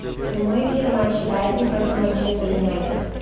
прямой эфир матча брайтон против манчестер юнайтед